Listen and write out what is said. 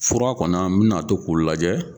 Fura kɔna n mi na to k'o lajɛ